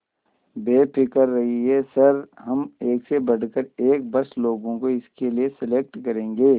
बेफिक्र रहिए सर हम एक से बढ़कर एक बस लोगों को इसके लिए सेलेक्ट करेंगे